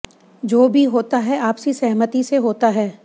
जो भी होता है आपसी सहमति से होता है